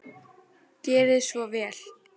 Gerið svo vel!